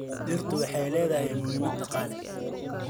Dhirtu waxay leedahay muhiimad dhaqaale.